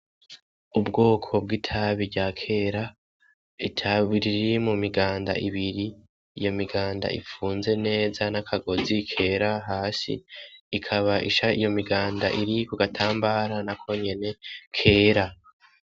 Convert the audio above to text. Ubwoko bw'itabi rya kera ,itabi riri mumiganda ibiri, iyo miganda ifunze neza n'akagozi kera hasi, ikaba iyo miganda iri kugatambara nakonyene kera.